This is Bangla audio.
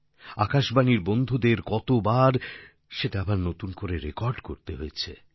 আকাশবাণীর বন্ধুদের কতবার সেটা আবার নতুন করে রেকর্ড করতে হয়েছে